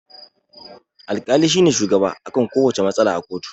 Al-kali shine shugaba akan kuwacce matsala a koto